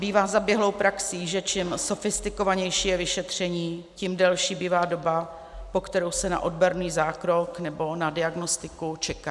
Bývá zaběhlou praxí, že čím sofistikovanější je vyšetření, tím delší bývá doba, po kterou se na odborný zákrok nebo na diagnostiku čeká.